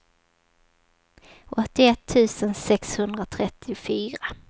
åttioett tusen sexhundratrettiofyra